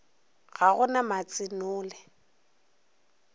ga go na matse nole